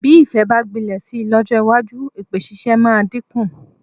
Bí ìfẹ́ bá gbilẹ̀ si lọ́jọ́ iwájú, èpè ṣíṣe máa dínkù.